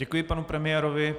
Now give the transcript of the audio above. Děkuji panu premiérovi.